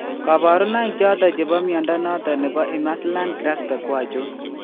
Kabarunaik choton chebo mnyondo noton nebo Imerslund Grasbeck ko achon ?